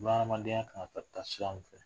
Bunahadenya kan ka ta sira mun fɛ